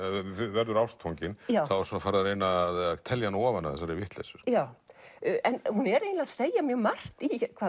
verður ástfangin þá er farið að reyna að telja hana ofan af þessari vitleysu en hún er eiginlega að segja mjög margt